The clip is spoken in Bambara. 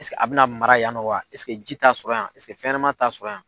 Ɛseke a bɛna mara yan nɔ wa? Ɛseke ji ta sɔrɔ yan? Ɛseke fɛnɲɛnɛma ta sɔrɔ yan?